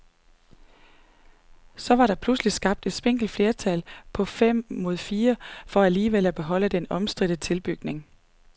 Så var der pludselig skabt et spinkelt flertal på fem mod fire for alligevel at beholde den omstridte tilbygning.